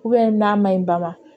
n'a ma ɲi ba ma